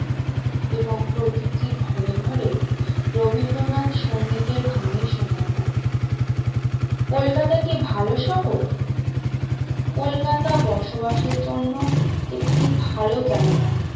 এবং প্রতিটি ঘরে ঘরে রবীন্দ্রনাথ, সংগীতের ধ্বনি শোনা যায় কলকাতা কি ভালো শহর? কলকাতা বসবাসের জন্য একটি ভালো জায়গা